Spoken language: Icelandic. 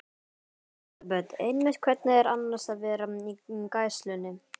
Elísabet: Einmitt, hvernig er annars að vera í gæslunni?